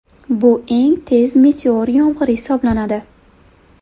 Bu eng tez meteor yomg‘iri hisoblanadi.